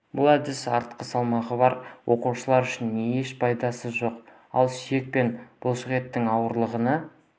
бұл әдіс артық салмағы бар оқушылар үшін еш пайдасы жоқ ал сүйек пен бұлшық еттің ауырғаны